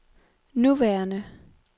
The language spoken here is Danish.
nuværende